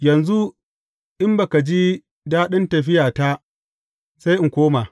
Yanzu in ba ka ji daɗin tafiyata, sai in koma.